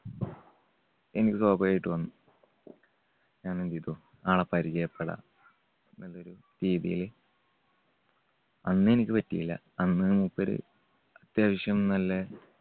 എനിക്ക് സ്വഭാവികായിട്ട് വന്നു. ഞാൻ എന്ത് ചെയ്‌തു. ആളെ പരിചയപ്പെടാം എന്നൊരു രീതിയിൽ അന്നെനിക്ക് പറ്റിയില്ല. അന്ന് മൂപ്പര് അത്യാവശ്യം നല്ല